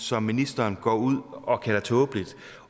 som ministeren går ud og kalder tåbeligt